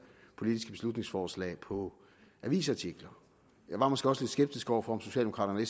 politiske beslutningsforslag på avisartikler jeg var måske også lidt skeptisk over for om socialdemokraterne og